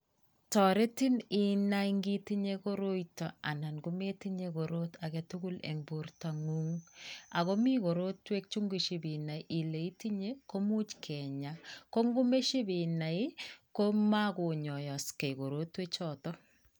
Toretin inai kitinye koroito nda kometinye korot age tugu eng bortongung akomi korotwek che ngoshipinai ile itinye komuch kinya, ko ngomashipinai komako nyaaksei korotwek choto.